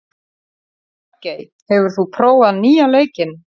Bjarkey, hefur þú prófað nýja leikinn?